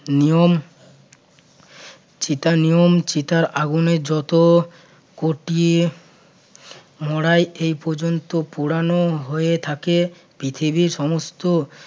নিয়ম চিতার নিয়ম চিতার আগুনে যত কটি মরাই এই পর্যন্ত পোড়ানো হয়ে থাকে পৃথিবী সমস্ত